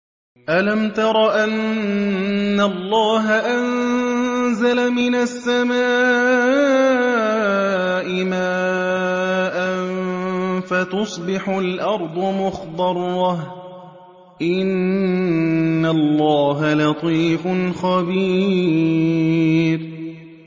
أَلَمْ تَرَ أَنَّ اللَّهَ أَنزَلَ مِنَ السَّمَاءِ مَاءً فَتُصْبِحُ الْأَرْضُ مُخْضَرَّةً ۗ إِنَّ اللَّهَ لَطِيفٌ خَبِيرٌ